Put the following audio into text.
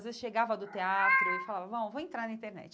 Às vezes chegava do teatro e falava, bom, vou entrar na internet.